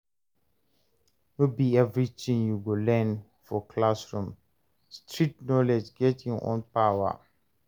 No be everything you go learn for classroom, street knowledge get e own power.